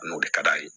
N'o de ka d'a ye